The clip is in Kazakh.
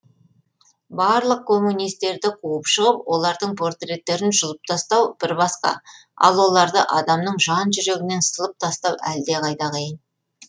барлық коммунистерді қуып шығып олардың портреттерін жұлып тастау бір басқа ал оларды адамның жан жүрегінен сылып тастау әлдеқайда қиын